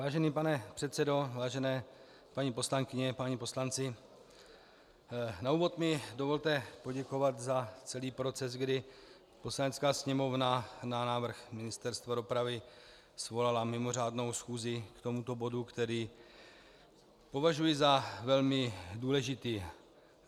Vážený pane předsedo, vážené paní poslankyně, páni poslanci, na úvod mi dovolte poděkovat za celý proces, kdy Poslanecká sněmovna na návrh Ministerstva dopravy svolala mimořádnou schůzi k tomuto bodu, který považuji za velmi důležitý.